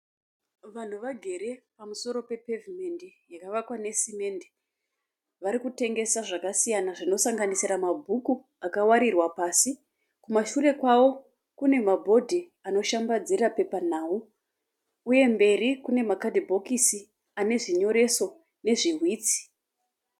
Vanhu vagere pamusoro pepevhimendi yakavakwa nesimende. Vari kutengesa zvakasiyana zvinosanganisira mabhuku akawarirwa pasi. Kumashure kwavo kune mabhodhi anoshambadzira pepanhau uye mberi kune makadhibhokisi ane zvinyoreso nezviwitsi.